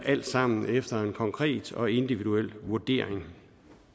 alt sammen efter en konkret og individuel vurdering